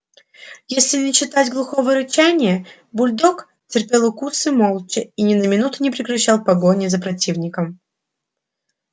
если не считать глухого рычания бульдог терпел укусы молча и ни на минуту не прекращал погони за противником